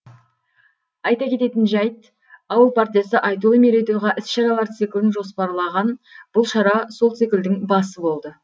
айта кететін жайт ауыл партиясы айтулы мерейтойға іс шаралар циклін жоспарлаған бұл шара сол циклдің басы болды